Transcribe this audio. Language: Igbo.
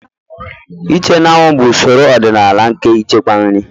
Iche n'anwụ bụ usoro ọdịnala nke ichekwa nri.